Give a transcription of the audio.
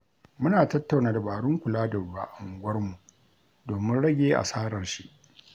Muna tattauna dabarun kula da ruwa a unguwarmu domin rage asarar shi.